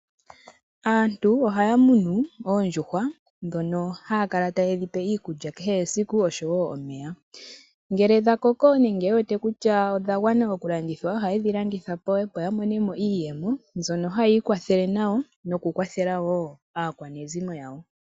Aantu ohaya munu oondjuhwa dhono haya kala taye dhipe iikulya kehe esiku oshowo omeya. Ngele dha koko noye wete kutya odha gwana oku landitha ohaye dhi landitha po opo ya monemo iiyemo mbyono hayi ikwathela nayo noku kwathela wo aakwanezimo yawo.